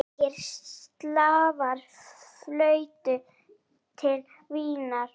Margir slavar fluttu til Vínar.